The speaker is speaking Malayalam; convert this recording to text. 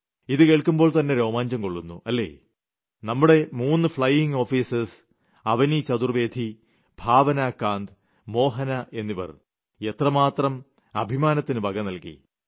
ഇത് കേൾക്കുമ്പോൾ തന്നെ രോമാഞ്ചം കൊളളുന്നു അല്ലേ നമ്മുടെ മൂന്ന് ഫ്ളയിംഗ് ഓഫീസർമാർ അവനി ചതുർവേദി ഭാവന കാന്ത് മോഹന എന്നിവർ എത്രമാത്രം അഭിമാനത്തിന് വക നൽകി